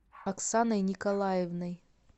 оксаной николаевной